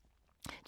DR K